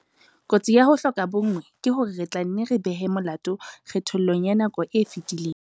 Kotsi ya ho hloka bonngwe ke hore re tla nne re behe molato kgethollong ya nako e fetileng.